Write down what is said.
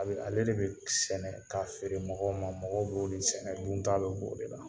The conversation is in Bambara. A ale de bɛ sɛnɛ ka feere mɔgɔw ma, mɔgɔw b'o de sɛnɛ dunta bɛ bɛ o de la.